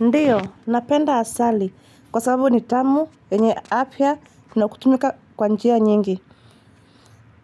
Ndiyo, napenda asali kwa sababu ni tamu yenye afya na kutumika kwa njia nyingi.